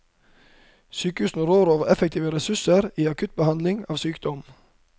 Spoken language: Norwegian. Sykehusene rår over effektive ressurser i akuttbehandling av sykdom.